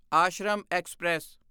Ashram express